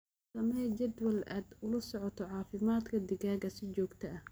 Samee jadwal aad ula socoto caafimaadka digaagga si joogto ah.